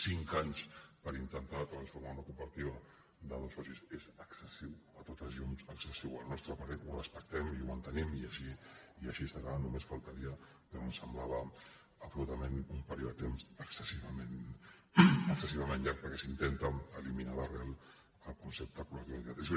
cinc anys per intentar transformar una cooperativa de dos socis és excessiu a totes llums excessiu al nostre parer ho respectem i ho mantenim i així serà només faltaria però ens semblava absolutament un període de temps excessivament llarg perquè s’intenta eliminar d’arrel el concepte col·lectiu de l’activitat